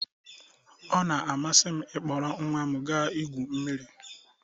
Ọ na-amasị m ịkpọrọ nwa m ga igwu mmiri